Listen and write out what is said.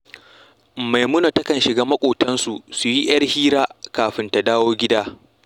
Maimuna takan shiga maƙotansu su yi ‘yar hira kafin ta dawo gida